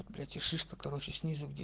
блять и шишка короче снизу где